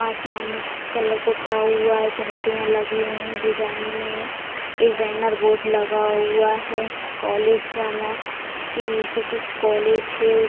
आसमानी कलर पुता हुआ है झांझरिया लगे हुए है डिजाइन में एक बैनर बोर्ड लगा हुआ है कॉलेज वाला की नीचे कुछ कॉलेज है।